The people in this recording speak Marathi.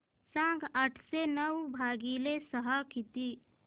सांगा आठशे नऊ भागीले सहा किती